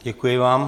Děkuji vám.